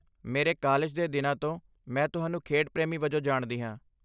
ਮੇਰੇ ਕਾਲਜ ਦੇ ਦਿਨਾਂ ਤੋਂ, ਮੈਂ ਤੁਹਾਨੂੰ ਖੇਡ ਪ੍ਰੇਮੀ ਵਜੋਂ ਜਾਣਦੀ ਹਾਂ।